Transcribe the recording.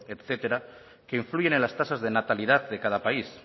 etcétera que influyen en las tasas de natalidad de cada país